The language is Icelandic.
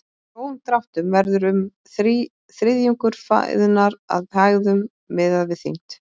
Í grófum dráttum verður um þriðjungur fæðunnar að hægðum miðað við þyngd.